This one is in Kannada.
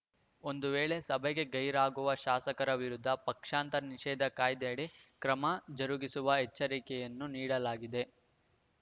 ಒಂದು ವೇಳೆ ಸಭೆಗೆ ಗೈರಾಗುವ ಶಾಸಕರ ವಿರುದ್ಧ ಪಕ್ಷಾಂತರ ನಿಷೇಧ ಕಾಯ್ದೆಯಡಿ ಕ್ರಮ ಜರುಗಿಸುವ ಎಚ್ಚರಿಕೆಯನ್ನೂ ನೀಡಲಾಗಿದೆ